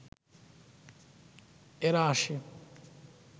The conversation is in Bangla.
এরা আসে